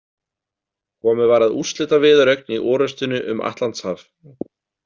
Komið var að úrslitaviðureign í orrustunni um Atlantshaf.